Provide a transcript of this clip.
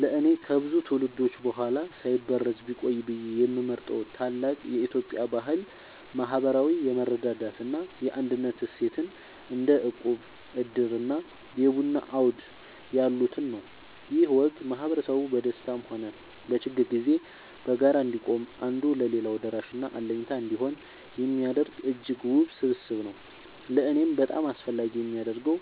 ለእኔ ከብዙ ትውልዶች በኋላ ሳይበረዝ ቢቆይ ብዬ የምመርጠው ታላቅ የኢትዮጵያ ባህል **ማህበራዊ የመረዳዳት እና የአንድነት እሴትን** (እንደ እቁብ፣ ዕድር እና የቡና አውድ ያሉትን) ነው። ይህ ወግ ማህበረሰቡ በደስታም ሆነ በችግር ጊዜ በጋራ እንዲቆም፣ አንዱ ለሌላው ደራሽና አለኝታ እንዲሆን የሚያደርግ እጅግ ውብ ስብስብ ነው። ለእኔ በጣም አስፈላጊ የሚያደርገው፣